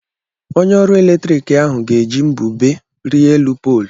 Onye ọrụ eletrik ahụ ga-eji mbube rịa elu poolu.